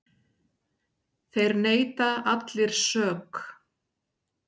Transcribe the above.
Þeir neita allir sök.